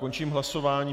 Končím hlasování.